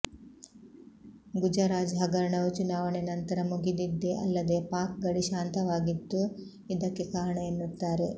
ಗುಜರಾಜ್ ಹಗರಣವು ಚುನಾವಣೆ ನಂತರ ಮುಗಿದಿದ್ದೇ ಅಲ್ಲದೆ ಪಾಕ್ ಗಡಿ ಶಾಂತವಾಗಿದ್ದು ಇದಕ್ಕೆ ಕಾರಣ ಎನ್ನುತ್ತಾರೆ